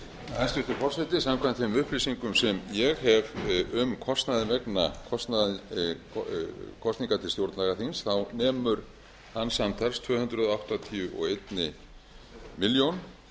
hæstvirtur forseti samkvæmt þeim upplýsingum sem ég hef um kostnað vegna kosninga til stjórnlagaþings þá nemur hann samtals tvö hundruð áttatíu og eina milljón